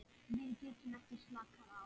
Við getum ekki slakað á.